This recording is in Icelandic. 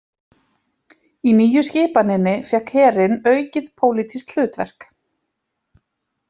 Í Nýju skipaninni fékk herinn aukið pólitískt hlutverk.